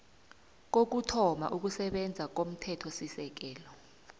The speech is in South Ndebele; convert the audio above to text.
kokuthoma ukusebenza komthethosisekelo